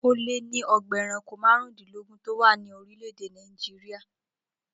Ó lé ní o̩gbà e̩ranko márùndínlógún tó wà ní orílè̩-èdè Nàìjíríà